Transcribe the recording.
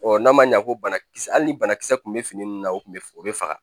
n'a ma ɲa ko banakisɛ hali ni banakisɛ tun bɛ fini nunnu na o kun bɛ o bɛ faga